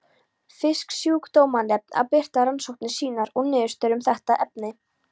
Fisksjúkdómanefnd að birta rannsóknir sínar og niðurstöður um þetta efni.